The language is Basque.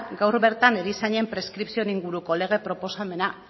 gaur bertan erizainen preskripzioen inguruko lege proposamena